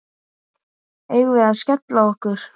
Eigum við að skella okkur?